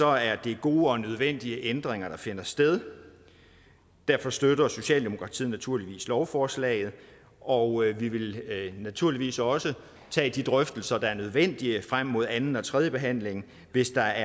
er det gode og nødvendige ændringer der finder sted derfor støtter socialdemokratiet naturligvis lovforslaget og vi vil naturligvis også tage de drøftelser der er nødvendige frem mod anden og tredjebehandlingen hvis der